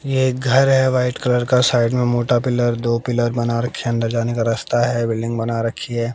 ये एक घर है व्हाइट कलर का साइड में मोटा पिलर दो पिलर बना रखे हैं अन्दर जाने का रास्ता है बिल्डिंग बना रखी है।